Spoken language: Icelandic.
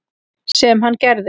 Sem hann gerði.